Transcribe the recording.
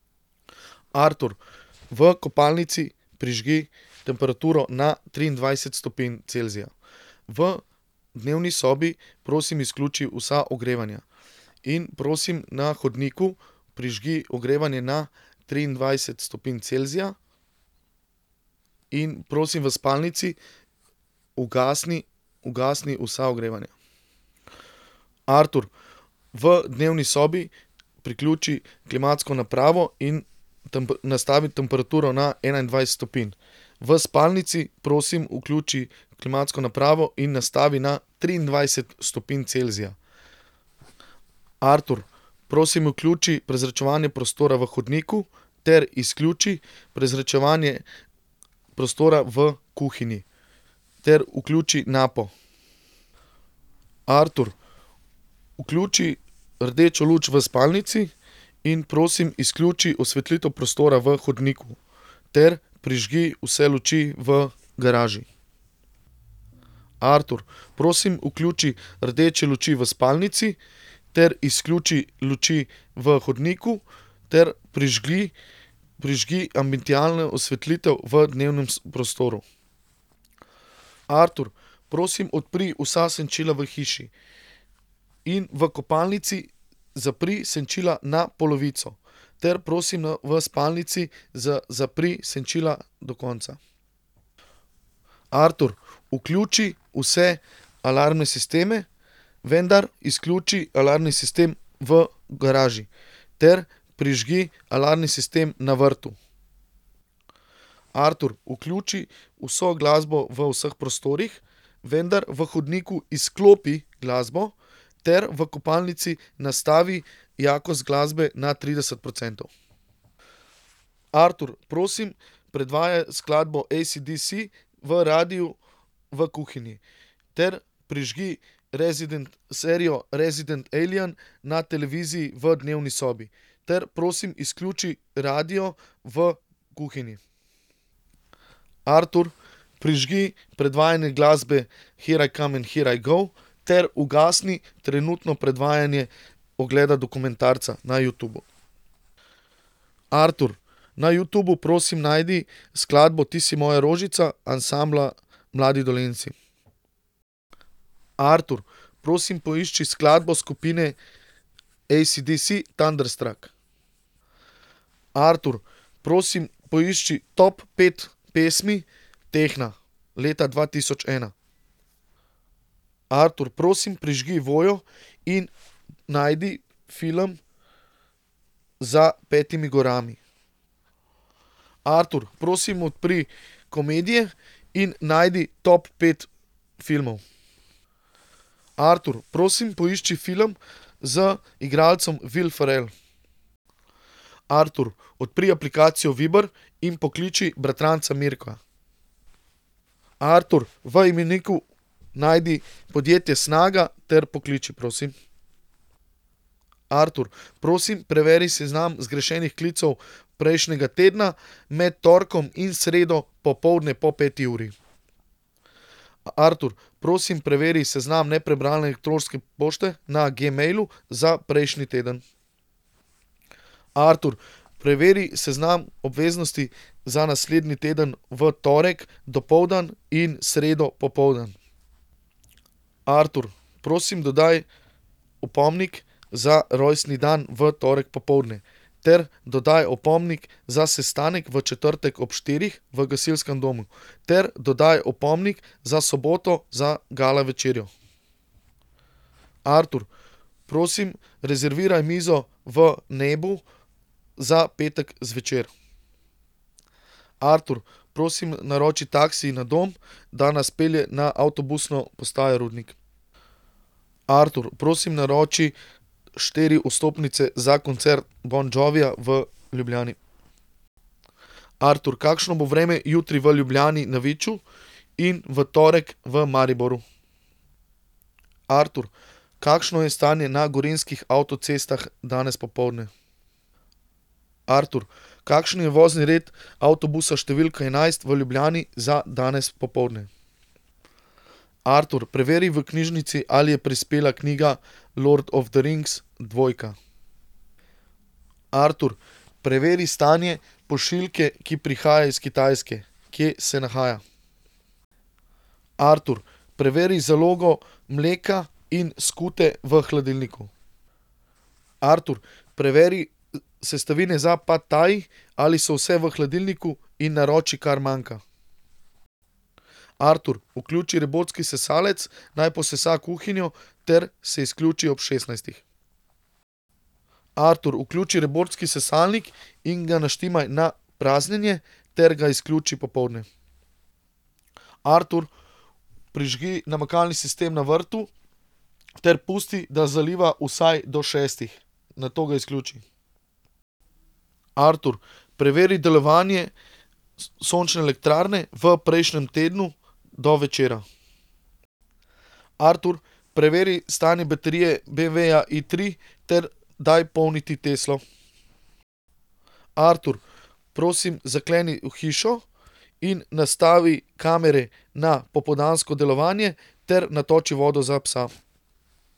Artur, v kopalnici prižgi temperaturo na triindvajset stopinj Celzija. V dnevni sobi prosim izključi vsa ogrevanja in prosim na hodniku prižgi ogrevanje na triindvajset stopinj Celzija. In prosim v spalnici ugasni, ugasni vsa ogrevanja. Artur, v dnevni sobi priključi klimatsko napravo in nastavi temperaturo na enaindvajset stopinj. V spalnici prosim vključi klimatsko napravo in nastavi na triindvajset stopinj Celzija. Artur, prosim vključi prezračevanje prostora v hodniku ter izključi prezračevanje prostora v kuhinji ter vključi napo. Artur, vključi rdečo luč v spalnici in prosim izključi osvetlitev prostora v hodniku ter prižgi vse luči v garaži. Artur, prosim vključi rdeče luči v spalnici ter izključi luči v hodniku ter prižgli, prižgi ambientalno osvetlitev v dnevnem prostoru. Artur, prosim odpri vsa senčila v hiši in v kopalnici zapri senčila na polovico ter prosim na, v spalnici zapri senčila do konca. Artur, vključi vse alarmne sisteme, vendar izključi alarmni sistem v garaži ter prižgi alarmni sistem na vrtu. Artur, vključi vso glasbo v vseh prostorih, vendar v hodniku izklopi glasbo ter v kopalnici nastavi jakost glasbe na trideset procentov. Artur, prosim predvajaj skladbo AC/DC v radiu v kuhinji ter prižgi Resident, serijo Resident alien na televiziji v dnevni sobi ter prosim izključi radio v kuhinji. Artur, prižgi predvajanje glasbe Hir aj kam and hir aj go ter ugasni trenutno predvajanje ogleda dokumentarca na Youtubu. Artur, na Youtubu prosim najdi skladbo Ti si moja rožica ansambla Mladi Dolenjci. Artur, prosim poišči skladbo skupine AC/DC Thunderstruck. Artur, prosim poišči top pet pesmi tehna leta dva tisoč ena. Artur, prosim prižgi Voyo in najdi film Za petimi gorami. Artur, prosim odpri komedije in najdi top pet filmov. Artur, prosim poišči film z igralcem Will Ferrel. Artur, odpri aplikacijo Viber in pokliči bratranca Mirka. Artur, v imeniku najdi podjetje Snaga ter pokliči prosim. Artur, prosim preveri seznam zgrešenih klicev prejšnjega tedna med torkom in sredo popoldne po peti uri. Artur, prosim preveri seznam neprebrane elektronske pošte na Gmailu za prejšnji teden. Artur, preveri seznam obveznosti za naslednji teden v torek dopoldan in sredo popoldan. Artur, prosim dodaj opomnik za rojstni dan v torek popoldne ter dodaj opomnik za sestanek v četrtek ob štirih v gasilskem domu ter dodaj opomnik za soboto za gala večerjo. Artur, prosim rezerviraj mizo v Nebu za petek zvečer. Artur, prosim naroči taksi na dom, da nas pelje na avtobusno postajo Rudnik. Artur, prosim naroči štiri vstopnice za koncert Bon Jovija v Ljubljani. Artur, kakšno bo vreme jutri v Ljubljani na Viču in v torek v Mariboru? Artur, kakšno je stanje na gorenjskih avtocestah danes popoldne? Artur, kakšen je vozni red avtobusa številka enajst v Ljubljani za danes popoldne? Artur, preveri v knjižnici, ali je prispela knjiga Lord of the rings dvojka. Artur, preveri stanje pošiljke, ki prihaja iz Kitajske. Kje se nahaja? Artur, preveri zalogo mleka in skute v hladilniku. Artur, preveri sestavine za pad thai, ali so vse v hladilniku in naroči, kar manjka. Artur, vključi robotski sesalec, naj posesa kuhinjo ter se izključi ob šestnajstih. Artur, vključi robotski sesalnik in ga naštimaj na praznjenje ter ga izključi popoldne. Artur, prižgi namakalni sistem na vrtu ter pusti, da zaliva vsaj do šestih, nato ga izključi. Artur, preveri delovanje sončne elektrarne v prejšnjem tednu do večera. Artur, preveri stanje baterije beemveja in tri ter daj polniti teslo. Artur, prosim zakleni hišo in nastavi kamere na popoldansko delovanje ter natoči vodo za psa.